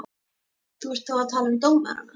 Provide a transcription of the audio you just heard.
Þú ert þá að tala um dómarana?